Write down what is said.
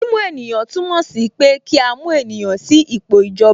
Mímú ènìyàn túmọ̀ sí pé kí a mú ènìyàn sí ipò ìjọba